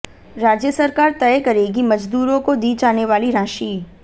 राज्य सरकार तय करेंगी मजदूरों को दी जाने वाली राशि